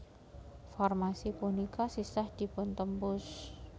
Formasi punika sisah dipun tembus